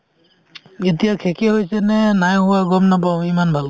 এতিয়া শেষে হৈছে নে নাই হোৱা গম নাপাওঁ অ ইমান ভালকে